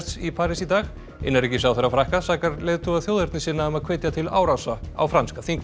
í París í dag innanríkisráðherra Frakka sakar leiðtoga þjóðernissinna um að hvetja til árása á franska þingmenn